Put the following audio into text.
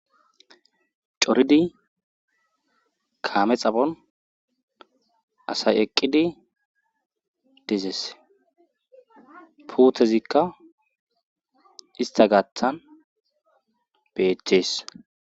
Coridii kaame xaphon asay eqqidi dees puuthezikka ista gaththan betees